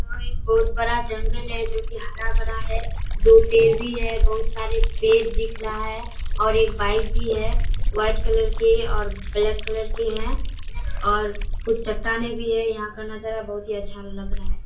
यहाँ एक बहुत बड़ा जंगल जो की बहुत हरा-भरा है दो पेड़ भी है बहुत सारे पेड़ दिख रहा है और एक बाइक भी है वाइट कलर के और ब्लैक कलर के हैं और कुछ चट्टानें भी है यहाँ का नजारा बहुत ही अच्छा लग रहा है।